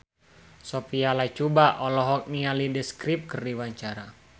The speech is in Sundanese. Sophia Latjuba olohok ningali The Script keur diwawancara